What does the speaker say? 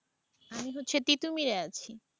আমি হচ্ছি তিতুমিরে আছে।